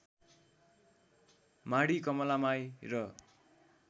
माढी कमलामाई र